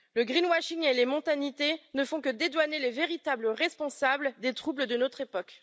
L'écoblanchiment et les mondanités ne font que dédouaner les véritables responsables des troubles de notre époque.